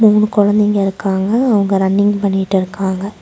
மூணு குழந்தைங்க இருக்காங்க அவங்க ரன்னிங் பண்ணிட்டுருக்காங்க.